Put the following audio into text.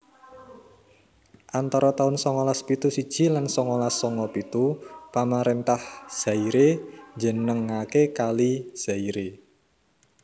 Antara taun songolas pitu siji lan songolas songo pitu pamaréntah Zaire njenengaké Kali Zaire